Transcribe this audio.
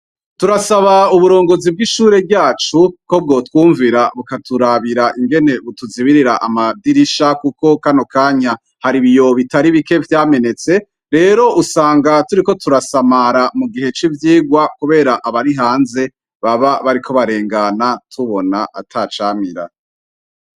Turasaba uburongozi bwishure ryacu ko bwotwumvira bukaturabira ingene butuzibirira amadirisha kuko kano kanya hari ibiyo bitari bike vyamenetse rero usanga turiko turasamara mugihe civyigwa kubera abari hanze baba bariko barengana tubona atacamira.